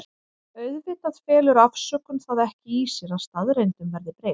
Auðvitað felur afsökun það ekki í sér að staðreyndum verði breytt.